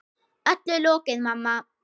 Öllu lokið, mamma.